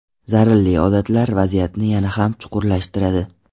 Zararli odatlar vaziyatni yana ham chuqurlashtiradi.